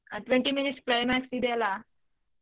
ಆ twenty minutes climax ಇದ್ಯಲ್ಲ.